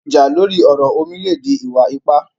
Ìjà lórí ọ̀rọ̀ omi le dí ìwà-ípà